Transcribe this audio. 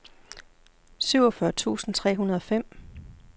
syvogfyrre tusind tre hundrede og fem